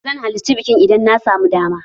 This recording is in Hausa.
Zan halirci bikin idan na samu dama.